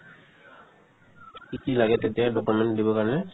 কি কি লাগে তেতিয়া document দিব কাৰণে